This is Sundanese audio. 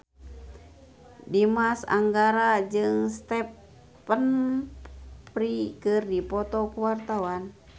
Dimas Anggara jeung Stephen Fry keur dipoto ku wartawan